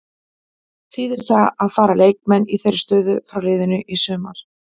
Þýðir það að fara leikmenn í þeirri stöðu frá liðinu í sumar?